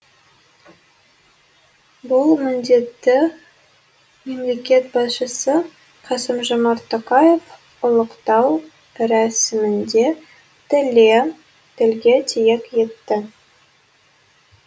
бұл міндетті мемлекет басшысы қасым жомарт тоқаев ұлықтау рәсімінде тілге тиек етті